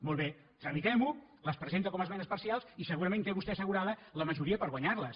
molt bé tramitem·ho les presenta com a esmenes parcials i segurament té vostè assegurada la majoria per guanyar·les